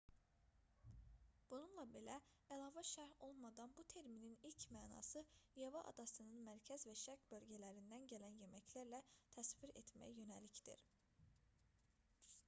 bununla belə əlavə şərh olmadan bu terminin ilkin mənası yava adasının mərkəz və şərq bölgələrindən gələn yeməklərlə təsvir etməyə yönəlikdir